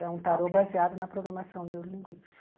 É um tarô baseado na programação neurolinguística.